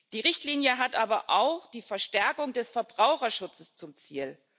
Die Richtlinie hat aber auch die Verstärkung des Verbraucherschutzes zum Ziel.